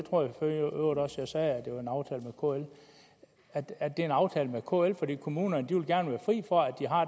øvrigt også jeg sagde at det er en aftale med kl for kommunerne vil gerne være fri for